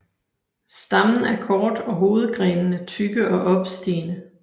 Stammen er kort og hovedgrenene tykke og opstigende